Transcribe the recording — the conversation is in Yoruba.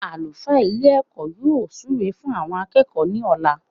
Àlùfáà Ilé èkó yóò súre fún àwon akéèkó ní òla